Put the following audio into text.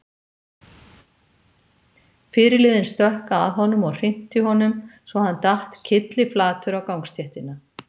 Fyrirliðinn stökk að honum og hrinti honum svo að hann datt kylliflatur á gangstéttina.